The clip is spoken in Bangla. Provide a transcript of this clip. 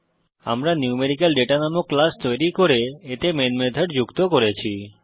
আমরা নিউমেরিক্যালদাতা নামক ক্লাস তৈরি করেছি এবং এতে মেন মেথড যুক্ত করেছি